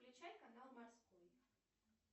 включай канал морской